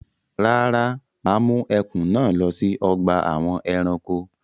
Rárá, mà á mú ẹkùn náà lọ sí ọgbà àwọn ẹranko.